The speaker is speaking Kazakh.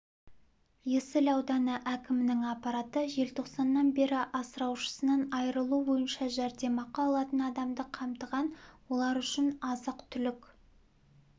есіл ауданы әкімінің аппараты желтоқсаннан бері асыраушысынан айырылу бойынша жәрдемақы алатын адамды қамтыған олар үшін азық-түлік